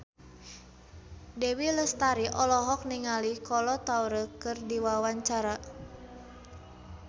Dewi Lestari olohok ningali Kolo Taure keur diwawancara